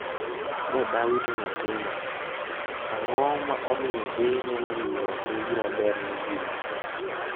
Ne dawito nyathina' ang'o ma omiyo deye neno ni nyuol en gima ber ne ji machuo?